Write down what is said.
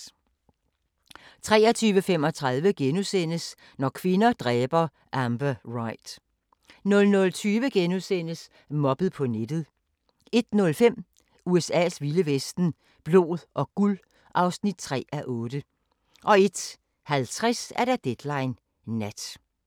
23:35: Når kvinder dræber – Amber Wright * 00:20: Mobbet på nettet * 01:05: USA's vilde vesten: Blod og guld (3:8) 01:50: Deadline Nat